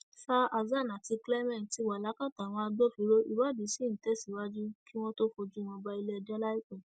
sa hasan àti clement ti wà lákàtà àwọn agbófinró ìwádìí ṣì ń tẹsíwájú kí wọn tóó fojú wọn balẹẹjọ láìpẹ